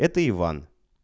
это иван